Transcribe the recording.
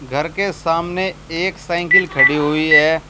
घर के सामने एक साइकिल खड़ी हुई है।